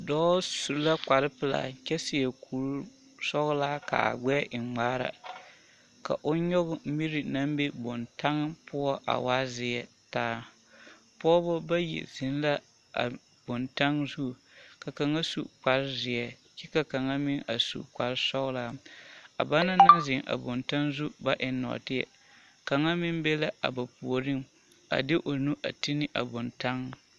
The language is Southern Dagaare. Dɔɔ su la kpare pelaa kyɛ seɛ kuri sɔgelaa ka a gbɛɛ e ŋmaara ka o nyɔge miri naŋ be bontaŋ poɔ a waa zeɛ taa, pɔgebɔ bayi zeŋ la a bontaŋ zu ka kaŋa su kpare zeɛ kyɛ ka kaŋa meŋ a su kpare sɔgelaa a banaŋ naŋ zeŋ a bontaŋ zu ka eŋ nɔɔteɛ kaŋa meŋ be la a ba puoriŋ a de o nu a te ne a bontaŋ.